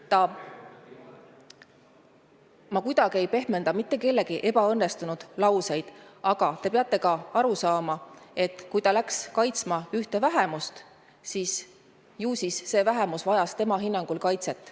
Ma ei püüa kuidagi pehmenda kellegi ebaõnnestunud lauseid, aga te peate aru saama, et kui ta läks kaitsma ühte vähemust, ju siis see vähemus vajas tema hinnangul kaitset.